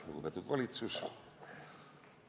Lugupeetud valitsus!